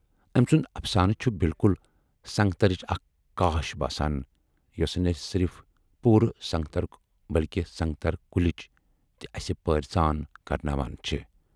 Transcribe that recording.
ٲمۍ سُند اَفسانہٕ چھِ بِلکُل سنگترٕچ اکھ قاش باسان، یۅسہٕ نہَ صرِف پوٗرٕ سنگترُک بٔلۍکہِ سنگتر کُلِچ تہِ اَسہِ پٲرۍزان کرٕناوان چھے۔